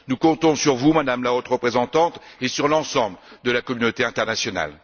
Nous comptons sur vous, Madame la Haute représentante, et sur l'ensemble de la communauté internationale.